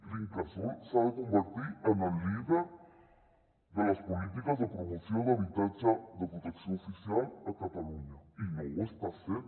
l’incasòl s’ha de convertir en el líder de les polítiques de promoció d’habitatge de protecció oficial a catalunya i no ho està sent